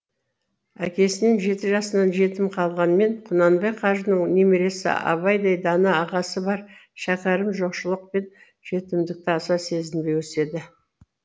әкесінен жеті жасынан жетім қалғанмен құнанбай қажының немересі абайдай дана ағасы бар шәкәрім жоқшылық пен жетімдікті аса сезінбей өседі